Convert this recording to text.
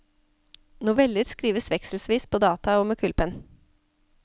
Noveller skrives vekselvis på data og med kulepenn.